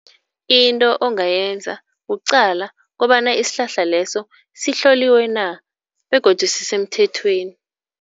Into ongayenza kuqala kobana isihlahla leso sihloliwe na begodu sisemthethweni.